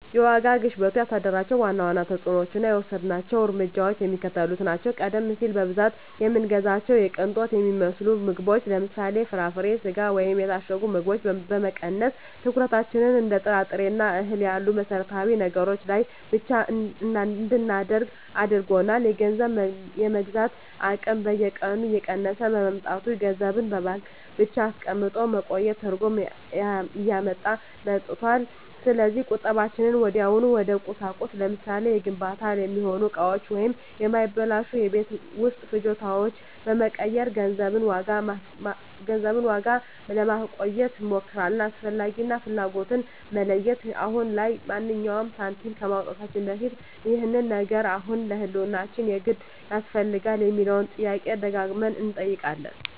የዋጋ ግሽበቱ ያሳደራቸው ዋና ዋና ተፅዕኖዎችና የወሰድናቸው እርምጃዎች የሚከተሉት ናቸው፦ ቀደም ሲል በብዛት የምንገዛቸውን የቅንጦት የሚመስሉ ምግቦችን (ለምሳሌ፦ ፍራፍሬ፣ ስጋ ወይም የታሸጉ ምግቦች) በመቀነስ፣ ትኩረታችንን እንደ ጥራጥሬና እህል ባሉ መሠረታዊ ነገሮች ላይ ብቻ እንድናደርግ አድርጎናል። የገንዘብ የመግዛት አቅም በየቀኑ እየቀነሰ በመምጣቱ፣ ገንዘብን በባንክ ብቻ አስቀምጦ ማቆየት ትርጉም እያጣ መጥቷል። ስለዚህ ቁጠባችንን ወዲያውኑ ወደ ቁሳቁስ (ለምሳሌ፦ ለግንባታ የሚሆኑ እቃዎች ወይም የማይበላሹ የቤት ውስጥ ፍጆታዎች) በመቀየር የገንዘቡን ዋጋ ለማቆየት እንሞክራለን። "አስፈላጊ" እና "ፍላጎት"ን መለየት፦ አሁን ላይ ማንኛውንም ሳንቲም ከማውጣታችን በፊት "ይህ ነገር አሁን ለህልውናችን የግድ ያስፈልጋል?" የሚለውን ጥያቄ ደጋግመን እንጠይቃለን።